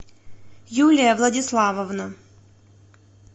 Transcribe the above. юлия владиславовна